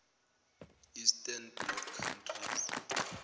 eastern bloc countries